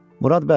Murad bəy,